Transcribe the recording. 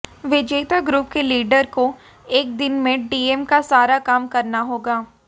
विजेता ग्रुप के लीडर को एक दिन मे डीएम का सारा काम करना होगा